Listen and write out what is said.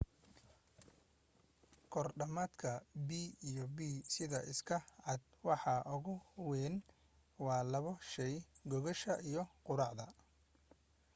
kor dhamaadka b&b sida iska cad waxa ugu weyn waa labo shey gogosha iyo quraacda